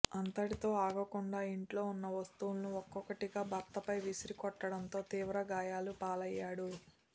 అంతటితో ఆగకుండా ఇంట్లో ఉన్న వస్తువులను ఒక్కొక్కటిగా భర్తపై విసిరికొట్టడంతో తీవ్రగాయాల పాలయ్యాడు